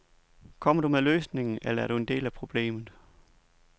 Kommer du med løsningen, eller er du en del af problemet.